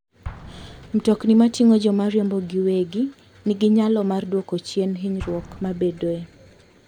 Mtokni mating'o joma riembo giwegi nigi nyalo mar dwoko chien hinyruok mabedoe.